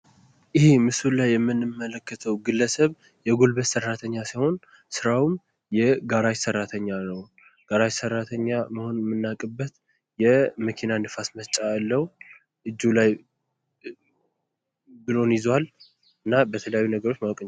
ይሄ ምስሉ ላይ የምንመለከተው ግለሰብ የጉልበት ሰራተኛ ሲሆን ስራውም የጋራጅ ሰራተኛ ነው። ጋራጅ ሰራተኛ መሆኑን የምናውቅበት የመኪና ነፋስ መስጫ ያለው። እጁ ላይ ቡለን ይዟል። እና በተለያዩ ነገሮች ማወቅ እንችላለን።